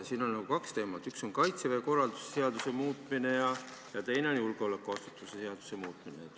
Siin on nagu kaks teemat, üks on Kaitseväe korralduse seaduse muutmine ja teine on julgeolekuasutuste seaduse muutmine.